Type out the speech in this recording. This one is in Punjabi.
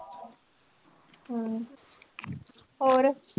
ਹਮ ਹੋਰ